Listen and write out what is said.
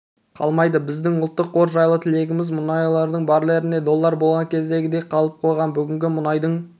қалмайды біздің ұлттық қор жайлы тілегіміз мұнайдың барреліне доллар болған кездегідей қалып қойған бүгінгі мұнайдың